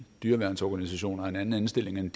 dyreværnsorganisationer en anden indstilling end